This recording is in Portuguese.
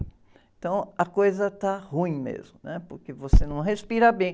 Então, a coisa está ruim mesmo, né? Porque você não respira bem.